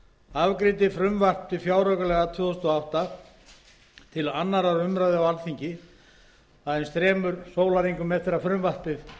afgreiddi frumvarp til fjáraukalaga tvö þúsund og átta til annarrar umræðu á alþingi aðeins þremur sólarhringum eftir að frumvarpið var